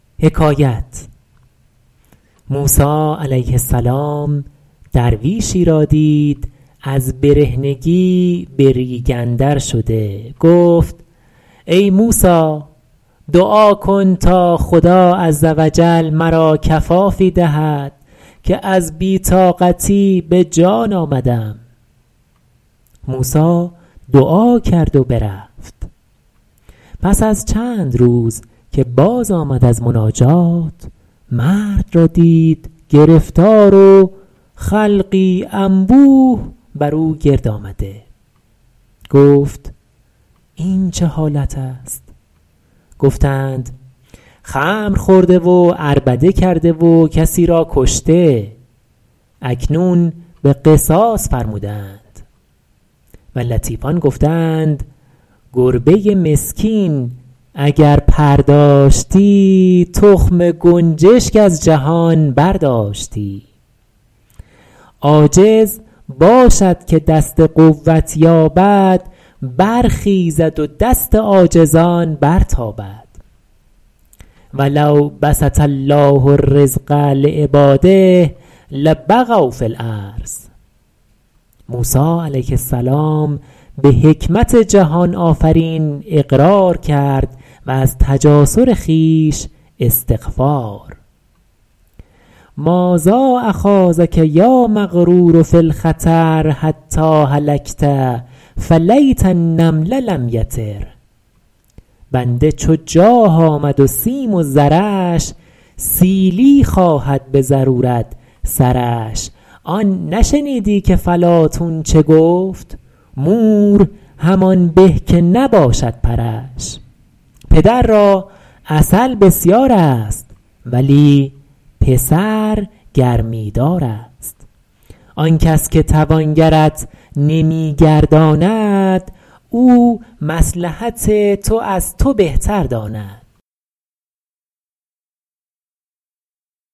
موسی علیه السلام درویشی را دید از برهنگی به ریگ اندر شده گفت ای موسی دعا کن تا خدا عزوجل مرا کفافی دهد که از بی طاقتی به جان آمدم موسی دعا کرد و برفت پس از چند روز که باز آمد از مناجات مرد را دید گرفتار و خلقی انبوه بر او گرد آمده گفت این چه حالت است گفتند خمر خورده و عربده کرده و کسی را کشته اکنون به قصاص فرموده اند و لطیفان گفته اند گربه مسکین اگر پر داشتی تخم گنجشک از جهان برداشتی عاجز باشد که دست قوت یابد برخیزد و دست عاجزان برتابد و لو بسط الله الرزق لعبٰاده لبغوا فی الارض موسی علیه السلام به حکمت جهان آفرین اقرار کرد و از تجاسر خویش استغفار مٰاذا اخاضک یا مغرور فی الخطر حتیٰ هلکت فلیت النمل لم یطر بنده چو جاه آمد و سیم و زرش سیلی خواهد به ضرورت سرش آن نشنیدی که فلاطون چه گفت مور همان به که نباشد پرش پدر را عسل بسیار است ولی پسر گرمی دار است آن کس که توانگرت نمی گرداند او مصلحت تو از تو بهتر داند